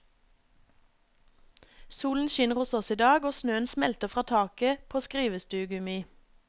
Solen skinner hos oss i dag, og snøen smelter fra taket på skrivestugu mi.